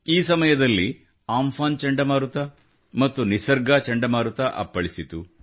ಈ ಸಮಯದಲ್ಲಿ ಅಂಫಾನ್ ಚಂಡಮಾರುತ ಮತ್ತು ನಿಸರ್ಗ ಚಂಡಮಾರುತ ಅಪ್ಪಳಿಸಿತು